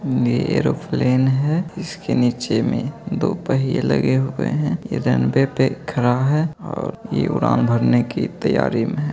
ये एरोप्लेन है इसके नीचे मे दो पहिये लगे हुए हैं ये रनवे पे खड़ा है और ये उड़ान भरने की तैयारी में है ।